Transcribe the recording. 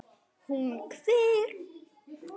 Hún hver?